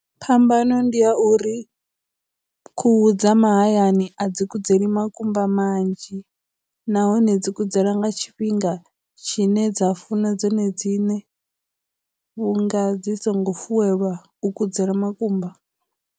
Phambano ndi ya uri khuhu dza mahayani a dzi kudzeli makumba manzhi nahone dzi kudzela nga tshifhinga tshine dza funa dzone dziṋe vhunga dzi songo fuwelwa u kudzela makumba.